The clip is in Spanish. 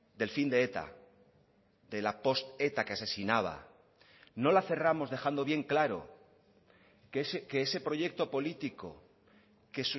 del fin de eta de la post eta que asesinaba no la cerramos dejando bien claro que ese proyecto político que